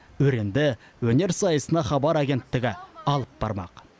өренді өнер сайысына хабар агенттігі алып бармақ